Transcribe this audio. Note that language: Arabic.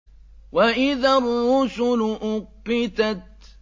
وَإِذَا الرُّسُلُ أُقِّتَتْ